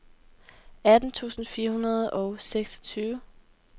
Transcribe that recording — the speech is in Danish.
atten tusind fire hundrede og seksogtyve